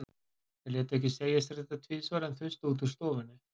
Þeir létu ekki segja sér þetta tvisvar, en þustu út úr stofunni.